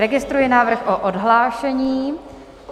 Registruji návrh na odhlášení.